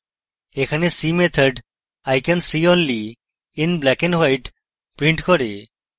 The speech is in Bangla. এখানে see method i can see only in black and white prints করে